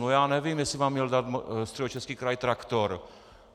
No já nevím, jestli vám měl dát Středočeský kraj traktor.